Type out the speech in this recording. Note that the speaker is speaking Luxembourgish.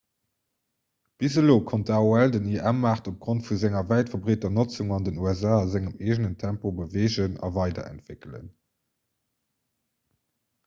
bis elo konnt aol den im-maart opgrond vu senger wäit verbreeter notzung an den usa a sengem eegenen tempo beweegen a weiderentwéckelen